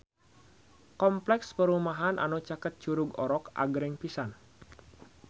Kompleks perumahan anu caket Curug Orok agreng pisan